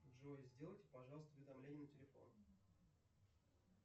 джой сделайте пожалуйста уведомление на телефон